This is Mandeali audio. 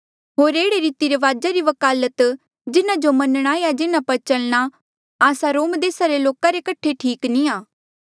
होर एह्ड़े रीति रिवाजा री वकालत जिन्हा जो मन्नणा या जिन्हा पर चलणा आस्सा रोम देसा रे लोक कठे ठीक नी आ